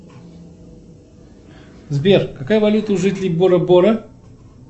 сбер какая валюта у жителей бора бора